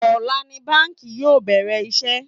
Ọ̀la ni báńkì yóò bẹ̀rẹ̀ iṣẹ́